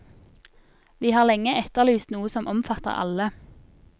Vi har lenge etterlyst noe som omfatter alle.